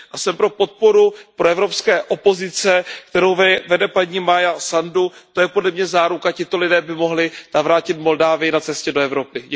Jsem pro podporu proevropské opozice, kterou vede paní Maja Sandu, to je podle mě záruka. Tito lidé by mohli navrátit Moldavsko na cestě do Evropy.